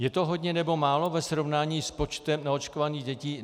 Je to hodně, nebo málo ve srovnání s počtem neočkovaných dětí?